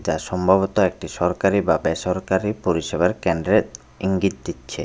এতা সম্ভবত একটি সরকারি বা বেসরকারি পরিষেবার কেন্দ্রের ইঙ্গিত দিচ্ছে।